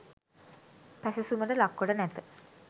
පැසැසුමට ලක් කොට නැත.